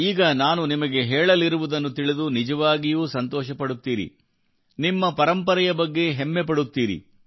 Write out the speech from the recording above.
ಈಗ ನಾನು ನಿಮಗೆ ಹೇಳಲಿರುವುದನ್ನು ತಿಳಿದು ನಿಜವಾಗಿಯೂ ಸಂತೋಷಪಡುತ್ತೀರಿ ನಿಮ್ಮ ಪರಂಪರೆಯ ಬಗ್ಗೆ ಹೆಮ್ಮೆ ಪಡುತ್ತೀರಿ